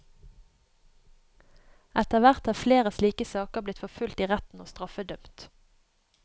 Etterhvert er flere slike saker blitt forfulgt i retten og straffedømt.